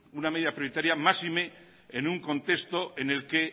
máxime en un contexto en el que